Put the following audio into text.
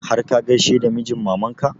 Har ka gaishe da mijin maman ka?